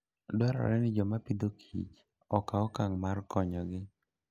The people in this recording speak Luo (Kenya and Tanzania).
Dwarore ni joma pidhokichokaw okang' mar konyogi.